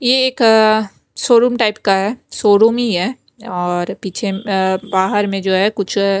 ये एक showroom type का है शोरूम ही है और पीछे बाहर में जो है कुछ--